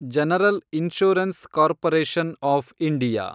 general insurance corporation of India